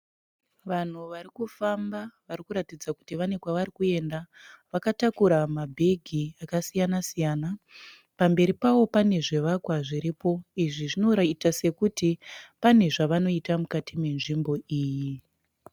Vanhu vari kufamba vari kuratidza kuti kune kwavari kuenda. Vakatakura mabhegi akasiyana siyana. Pamberi pavo pane zvivakwa zviripo izvi zvinoita sekuti pane zvanoita mukati menzvimbo iyi.